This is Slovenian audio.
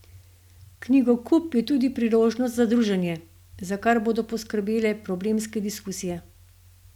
Knjigokup je tudi priložnost za druženje, za kar bodo poskrbele problemske diskusije.